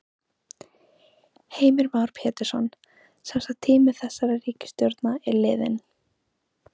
Heimir Már Pétursson: Semsagt tími þessarar ríkisstjórnar er liðinn?